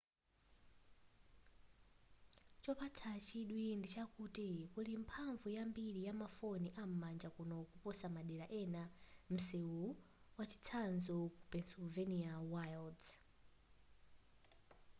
chopatsa chidwi ndichakuti kuli mphamvu yambili yamafoni am'manja kuno kuposa madera ena a msewuwu mwachitsanzo ku pennsylvania wilds